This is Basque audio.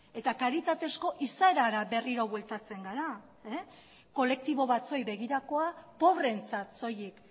eta kalitatezko izaerara berriro bueltatzen gara kolektibo batzuei begirakoa pobreentzat soilik